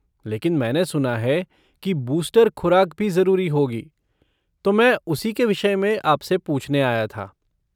लेकिन मैंने सुना है की बूस्टर खुराक भी ज़रूरी होगी तो मैं उसी के विषय में आपसे पूछने आया था।